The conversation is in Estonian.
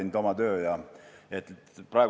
Aeg on oma töö teinud.